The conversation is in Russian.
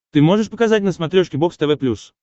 ты можешь показать на смотрешке бокс тв плюс